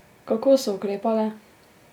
Kako so ukrepale?